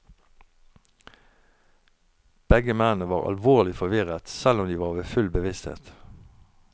Begge mennene var alvorlig forvirret, selv om de var ved full bevissthet.